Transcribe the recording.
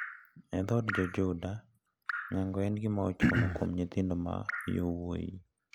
E dhood jo Judah nyango en gima ochuno kuom nyithindo ma yowuoyi.